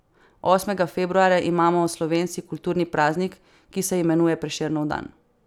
Osmega februarja imamo slovenci kulturni praznik, ki se imenuje prešernov dan.